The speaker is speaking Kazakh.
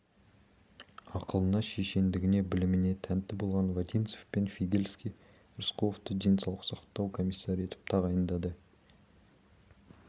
ақылына шешендігіне біліміне тәнті болған вотинцев пен фигельский рысқұловты денсаулық сақтау комиссары етіп тағайындады